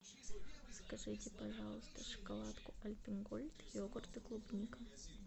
закажите пожалуйста шоколадку альпен гольд йогурт и клубника